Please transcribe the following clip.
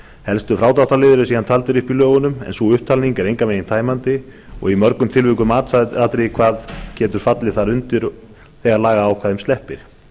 helstu frádráttarliðir eru síðan taldir upp í lögunum en sú upptalning er engan veginn tæmandi og er í mörgum tilvikum matsatriði hvað fallið getur þar undir þegar lagaákvæðum sleppir